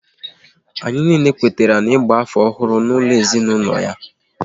Anyị niile kwetara ịgba afọ ọhụrụ n'ụlọ ezinaụlọ ha